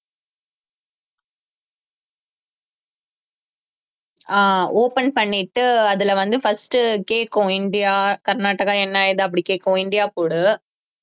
ஆஹ் open பண்ணிட்டு அதுல வந்து first கேக்கும் இந்தியா, கர்நாடகா என்ன ஏது அப்படி கேக்கும் இந்தியா போடு